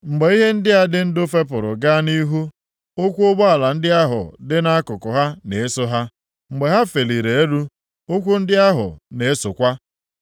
Mgbe ihe ndị a dị ndụ fepụrụ gaa nʼihu, ụkwụ ụgbọala ndị ahụ dị nʼakụkụ ha na-eso ha. Mgbe ha feliri elu, ụkwụ ndị ahụ na-esokwa.